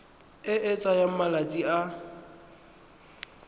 e e tsayang malatsi a